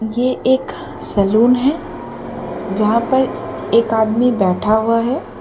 ये एक सलून है जहाँ पर एक आदमी बैठा हुआ है।